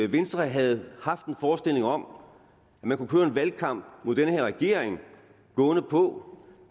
venstre havde haft en forestilling om at man kunne køre en valgkamp mod den her regering gående på